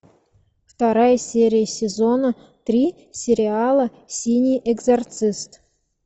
вторая серия сезона три сериала синий экзорцист